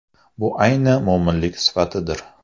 Bu ayni mo‘minlik sifatidir”.